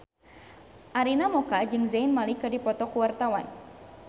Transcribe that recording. Arina Mocca jeung Zayn Malik keur dipoto ku wartawan